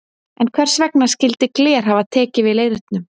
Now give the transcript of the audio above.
En hvers vegna skyldi gler hafa tekið við leirnum?